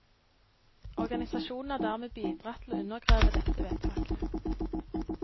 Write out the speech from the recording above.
Organisasjonen har dermed bidratt til å undergrave dette vedtaket.